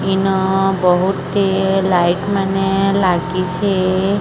ଇନ ବହୁତ ଟି ଲାଇଟ୍ ମାନେ ଲାଗିଛି।